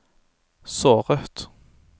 såret